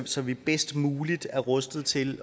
så vi bedst muligt er rustet til